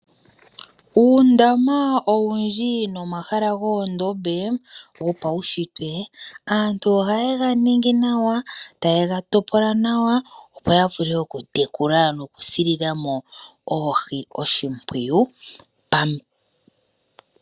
Uundama owundji nomahala goondombe gopaushitwe, aantu ohaye ga ningi nawa taye ga topola nawa opo ya vule oku tekula noku si lilamo oohi oshimpwiyu.